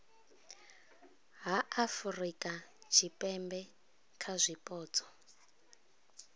ha afurika tshipembe kha zwipotso